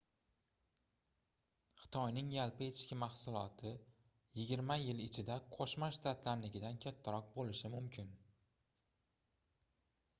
xitoyning yaimi yigirma yil ichida qoʻshma shtatlarinikidan kattaroq boʻlishi mumkin